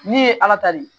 N'i ye ala ta de